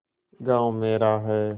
गॉँव मेरा है